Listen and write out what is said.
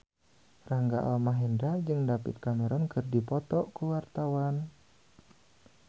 Rangga Almahendra jeung David Cameron keur dipoto ku wartawan